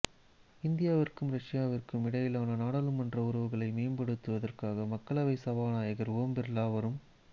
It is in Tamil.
இந்தியாவிற்கும் ரஷ்யாவிற்கும் இடையிலான நாடாளுமன்ற உறவுகளை மேம்படுத்துவதற்காக மக்களவை சபாநாயகர் ஓம் பிர்லா வரும்